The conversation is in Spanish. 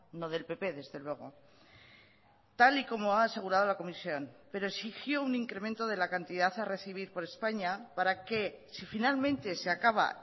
no del pp desde luego tal y como ha asegurado la comisión pero exigió un incremento de la cantidad a recibir por españa para que si finalmente se acaba